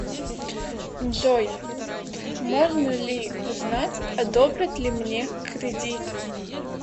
джой можно ли узнать одобрят ли мне кредит